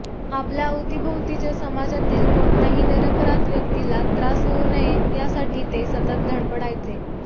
आपल्या अवतीभोवतीच्या समाजातील कोणत्याही निरपराध व्यक्तीला त्रास होऊ नये यासाठी ते सतत धडपडायचे